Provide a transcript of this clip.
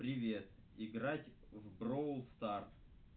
привет играть в броул старс